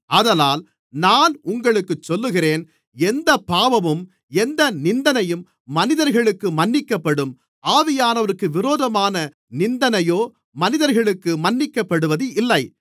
ஆதலால் நான் உங்களுக்குச் சொல்லுகிறேன் எந்தப் பாவமும் எந்த நிந்தனையும் மனிதர்களுக்கு மன்னிக்கப்படும் ஆவியானவருக்கு விரோதமான நிந்தனையோ மனிதர்களுக்கு மன்னிக்கப்படுவதில்லை